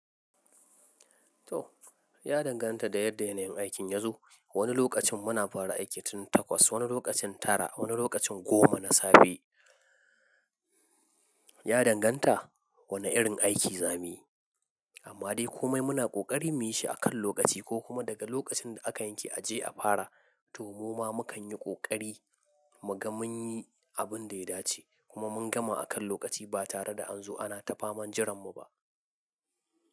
To ya danganta da yanda yanayin aikin ya zo. Wani lokacin muna fara aiki tun takwas, wani lokacin tara, wani lokacin goma na safe. Ya danganta wane irin aiki zamuyi. Amma dai komai muna ƙoƙari muyi shi akan lokaci ko kuma daga lokacin da aka yanke a je a fara, to mu ma mukan yi ƙoƙari muga mun yi abinda ya dace kuma mun gama akan lokaci ba tare da an zo ana ta faman jiran mu ba.